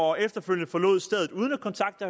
og efterfølgende forlod stedet uden at kontakte